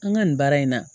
An ka nin baara in na